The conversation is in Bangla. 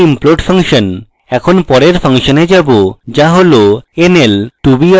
এখন পরের ফাংশনে যাবো যা হল nl2br